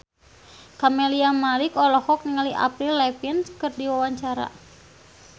Camelia Malik olohok ningali Avril Lavigne keur diwawancara